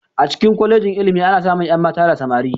A cikin kwalejin ilimi ana samun ƴan mata da samari